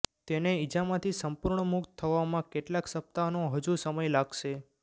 તેને ઇજામાંથી સંપૂર્ણ મુક્ત થવામાં કેટલાક સપ્તાહનો હજુ સમય લાગશે